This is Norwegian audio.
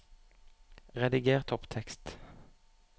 Rediger topptekst